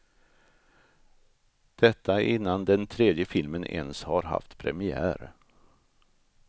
Detta innan den tredje filmen ens har haft premiär.